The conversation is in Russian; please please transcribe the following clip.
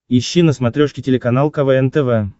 ищи на смотрешке телеканал квн тв